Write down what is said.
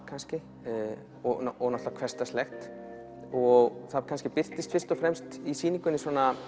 kannski og hversdagslegt og það kannski birtist í sýningunni